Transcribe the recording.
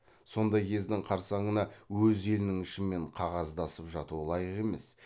сондай кездің қарсаңына өз елінің ішімен қағаздасып жату лайық емес